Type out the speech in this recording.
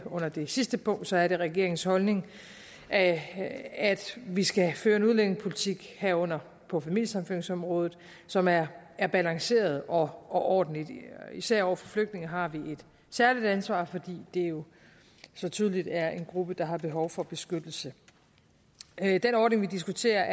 under det sidste punkt er det regeringens holdning at vi skal føre en udlændingepolitik herunder på familiesammenføringsområdet som er er balanceret og og ordentlig især over for flygtninge har vi et særligt ansvar fordi det jo så tydeligt er en gruppe der har behov for beskyttelse den ordning vi diskuterer